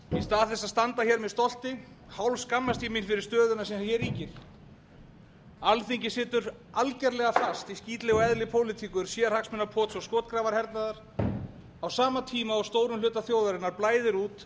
í stað þess að standa hér með stolti hálfskammast ég mín fyrir stöðuna sem hér ríkir alþingi situr algjörlega fast í skítlegu eðli pólitíkur sérhagsmunapots og skotgrafahernaðar á sama tíma og stórum hluta þjóðarinnar blæðir út